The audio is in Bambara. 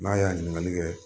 N'a ye ɲiniŋali kɛ